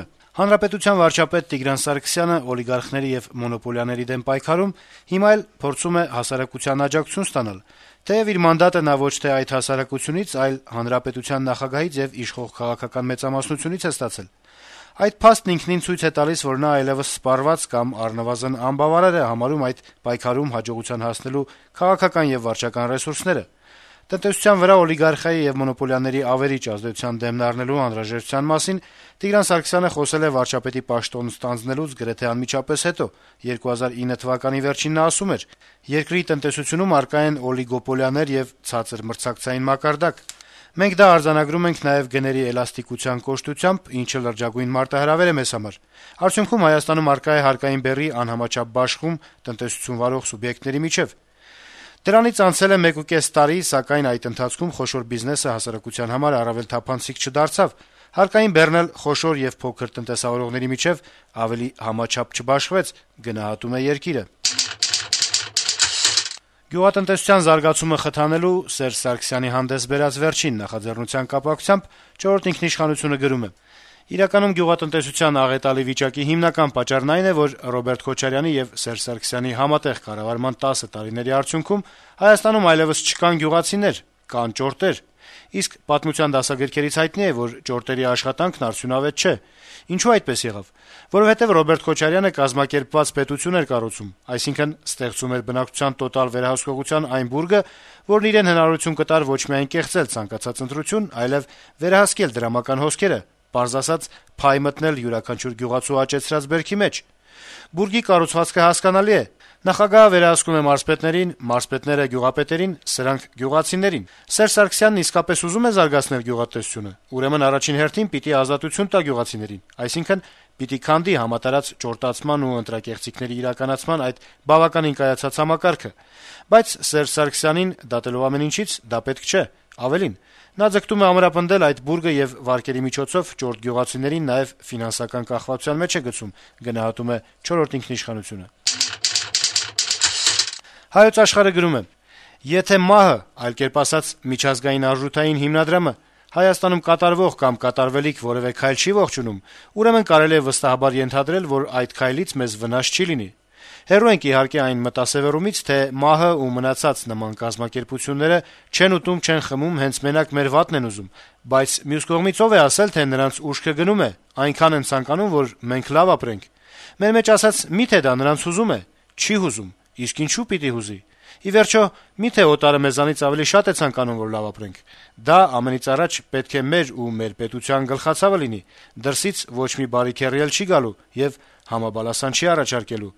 է. - «Հանրապետության վարչապետ Տիգրան Սարգսյանը օլիգարխների եւ մոնոպոլիաների դեմ պայքարում հիմա էլ փորձում է հասարակության աջակցությունը ստանալ, թեեւ իր մանդատը նա ոչ թե այդ հասարակությունից, այլ հանրապետության նախագահից եւ իշխող քաղաքական մեծամասնությունից է ստացել: Այդ փաստն ինքնին ցույց է տալիս, որ նա այլեւս սպառված կամ առնվազն անբավարար է համարում այդ պայքարում հաջողության հասնելու քաղաքական եւ վարչական ռեսուրսները: Տնտեսության վրա օլիգարխիայի եւ մոնոպոլիաների ավերիչ ազդեցության դեմն առնելու անհրաժեշտության մասին Տիգրան Սարգսյանը խոսել է վարչապետի պաշտոնն ստանձնելուց գրեթե անմիջապես հետո: 2009 թվականի վերջին նա ասում էր. - «Երկրի տնտեսությունում առկա են օլիգարխիաներ եւ ցածր մրցակցային մակարդակ: Մենք դա արձանագրում ենք նաեւ գների էլաստիկության կոշտությամբ, ինչը լրջագույն մարտահրավեր է մեզ համար: Արդյունքում Հայաստանում առկա է հարկային բեռի անհամաչափ բաշխում տնտեսություն վարող սուբյեկտների միջեւ»: Դրանից անցել է մեկուկես տարի, սակայն այդ ընթացքում խոշոր բիզնեսը հասարակության համար առավել թափանցիկ չդարձավ, հարկային բեռն էլ խոշոր եւ փոքր տնտեսավարողների միջեւ ավելի համաչափ չբաշխվեց»: Գյուղատնտեսության զարգացումը խթանելու` Սերժ Սարգսյանի վերջին նախաձեռնության կապակցությամբ «Չորրորդ ինքնիշխանություն»-ը գրում է. - «Իրականում գյուղատնտեսության աղետալի վիճակի հիմնական պատճառն այն է, որ Ռոբերտ Քոչարյանի եւ Սերժ Սարգսյանի համատեղ կառավարման 10 տարիների արդյունքում Հայաստանում այլեւս չկան գյուղացիներ, կան ճորտեր: Իսկ պատմության դասագրքերից հայտնի է, որ ճորտերի աշխատանքն արդյունավետ չէ: Ինչո՞ւ այդպես եղավ: Որովհետեւ Ռոբերտ Քոչարյանը «կազմակերպված պետություն» էր կառուցում, այսինքն` ստեղծում էր բնակչության տոտալ վերահսկողության այն բուրգը, որն իրեն հնարավորության կտար ոչ միայն կեղծել ցանկացած ընտրություն, այլեւ վերահսկել դրամական հոսքերը, պարզ ասած` «փայ մտնել» յուրաքանչյուր գյուղացու աճեցրած բերքի մեջ: Բուրգի կառուցվածքը հասկանալի է. նախագահը վերահսկում է մարզպետներին, մարզպետները` գյուղապետերին, սրանք` գյուղացիներին… Սերժ Սարգսյանն իսկապես ուզո՞ւմ է զարգացնել գյուղատնտեսությունը: Ուրեմն առաջին հերթին պիտի ազատություն տա գյուղացիներին: Այսինքն` պիտի քանդի համատարած ճորտացման ու ընտրակեղծիքների իրականացման այդ բավականին կայացած համակարգը: Բայց Սերժ Սարգսյանին, դատելով ամեն ինչից, դա պետք չէ: Ավելին` նա ձգտում է ամրապնդել այդ բուրգը եւ վարկերի միջոցով ճորտ գյուղացիներին նաեւ ֆինանսական կախվածության մեջ է գցում»: «Հայոց Աշխարհ»-ը գրում է. - «Եթե ՄԱՀ-ը, այլ կերպ ասած՝ Միջազգային արժույթային հիմնադրամը, Հայաստանում կատարվող կամ կատարվելիք որեւէ քայլ չի ողջունում, ուրեմն կարելի է վստահաբար ենթադրել, որ այդ քայլից մեզ վնաս չի լինի։ Հեռու ենք, իհարկե, այն մտասեւեռումից, թե ՄԱՀ-ը ու մնացած նման կազմակերպությունները «չեն ուտում, չեն խմում»՝ հենց մենակ մեր վատն են ուզում։ Բայց, մյուս կողմից, ո՞վ է ասել, թե ՄԱՀ-ի «ուշքը գնում է»՝ այնքան են ցանկանում, որ մենք լավ ապրենք։ Մեր մեջ ասած՝ մի՞թե դա նրանց հուզում է։ Չի՛ հուզում։ Իսկ ինչո՞ւ պիտի հուզի։ Ի վերջո, մի՞թե օտարը մեզանից ավելի շատ է ցանկանում, որ լավ ապրենք։ Դա ամենից առաջ պետք է մեր ու մեր պետության գլխացավը լինի։ Դրսից ոչ մի «բարի քեռի» էլ չի գալու եւ համաբալասան չի առաջարկելու»։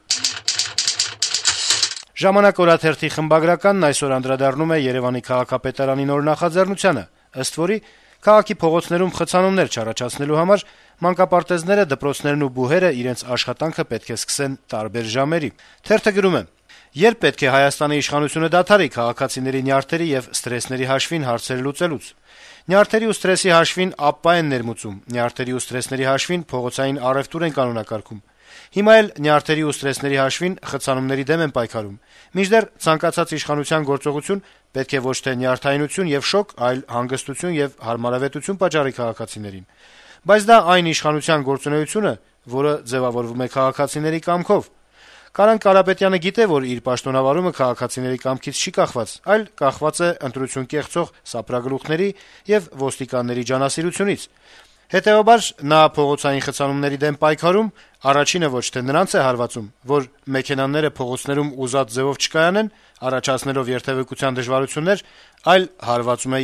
«Ժամանակ» օրաթերթի խմբագրականն այսօր անդրադառնում է Երեւանի քաղաքապետարանի նոր նախաձեռնությանը, ըստ որի քաղաքի փողոցներում խցանումներ չառաջացնելու համար մանկապարտեզները, դպրոցներն ու բուհերը իրենց աշխատանքը պետք է սկսեն տարբեր ժամերի: Թերթը գրում է. - «Ե՞րբ պետք է Հայաստանի իշխանությունը դադարի քաղաքացիների նյարդերի եւ սթրեսների հաշվին հարցեր լուծելուց: Նյարդերի ու սթրեսի հաշվին ԱՊՊԱ են ներմուծում, նյարդերի ու սթրեսների հաշվին փողոցային առեւտուր են կանոնակարգում: Հիմա էլ նյարդերի ու սթրեսների հաշվին խցանումների դեմ են պայքարում: Մինչդեռ ցանկացած իշխանության գործողություն պետք է ոչ թե նյարդայնություն եւ շոկ, այլ հանգստություն եւ հարմարավետություն պատճառի քաղաքացիներին: Բայց դա այն իշխանության գործողությունը, որը ձեւավորվում է քաղաքացիների կամքով: Կարեն Կարապետյանը գիտե, որ իր պաշտոնավարումը քաղաքացիների կամքից չի կախված, այլ կախված է ընտրություն կեղծող սափրագլուխների եւ ոստիկանների ջանասիրությունից: Հետեւաբար նա փողոցային խցանումների դեմ պայքարում առաջինը ոչ թե նրանց է հարվածում, որ մեքենաները փողոցներում ուզած ձեւով չկայանեն` առաջացնելով երթեւեկության դժվարություններ, այլ հարվածում է